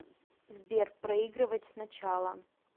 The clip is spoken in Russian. сбер проигрывать сначала